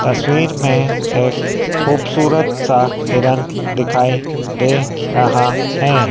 तस्वीर में एक खूबसूरत सा हिरण दिखाई दे रहा है।